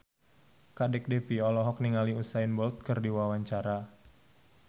Kadek Devi olohok ningali Usain Bolt keur diwawancara